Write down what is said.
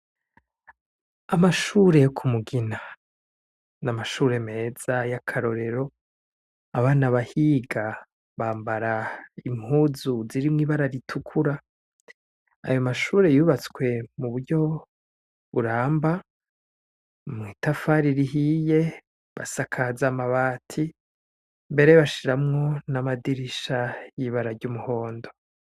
Amashure yo ku Mugina. Ni amashure meza y'akarorero, abana bahiga, bambara impuzu zirimwo ibara ritukura, ayo mashure yubatswe muburyo buramba, mw'itafari rihiye, basakaza amabati mbere bashiramwo n'amadirisha y'ibara ry'umuhondo.